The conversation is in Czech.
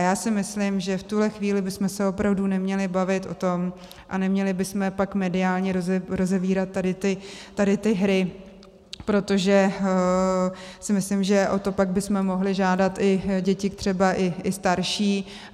A já si myslím, že v tuhle chvíli bychom se opravdu neměli bavit o tom a neměli bychom pak mediálně rozevírat tady ty hry, protože si myslím, že o to pak bychom mohli žádat i děti třeba i starší.